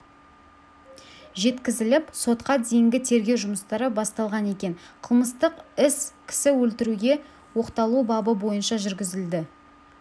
жеткізіліп сотқа дейінгі тергеу жұмыстары басталған екен қылмыстық іс кісі өлтіруге оқталу бабы бойынша жүргізілді